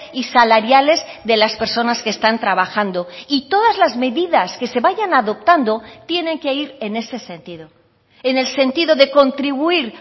y salariales de las personas que están trabajando y todas las medidas que se vayan adoptando tienen que ir en ese sentido en el sentido de contribuir